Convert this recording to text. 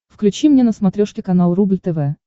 включи мне на смотрешке канал рубль тв